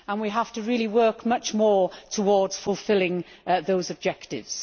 We have to really work much more towards fulfilling those objectives.